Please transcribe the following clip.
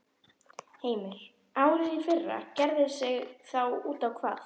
Heimir: Árið í fyrra gerði sig þá út á hvað?